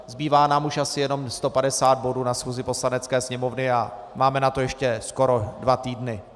Zbývá nám už asi jenom 150 bodů na schůzi Poslanecké sněmovny a máme na to ještě skoro dva týdny.